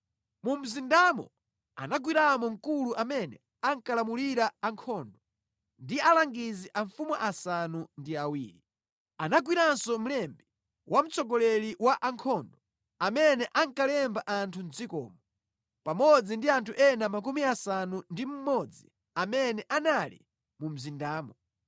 Mu mzindamo anagwiramo mkulu amene ankalamulira ankhondo, ndi alangizi amfumu asanu ndi awiri. Anagwiranso mlembi wa mtsogoleri wa ankhondo, amene ankalemba anthu mʼdzikomo, pamodzi ndi anthu ena 60 amene anali mu mzindamo.